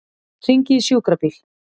Hringið í sjúkrabíl.